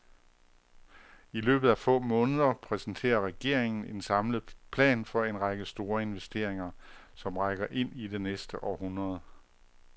I løbet af få måneder præsenterer regeringen en samlet plan for en række store investeringer, som rækker ind i det næste århundrede.